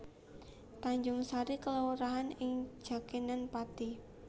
Tanjungsari kelurahan ing Jakenan Pathi